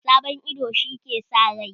Sabon ido shi ke sa raini